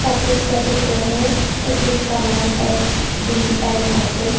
Office का चित्र है और जिसका नाम एस.डी.ए. ऑफिस --